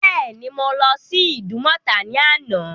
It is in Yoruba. Bẹ́ẹ̀ ni, Mo lọ́ sí Ìdúmọ̀tà ní àná.